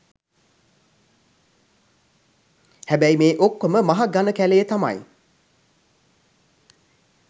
හැබැයි මේ ඔක්කොම මහ ඝන කැලයේ තමයි